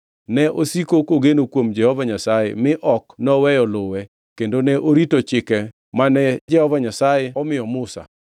Ne osiko kogeno kuom Jehova Nyasaye mi ok noweyo luwe; kendo ne orito chike mane Jehova Nyasaye omiyo Musa.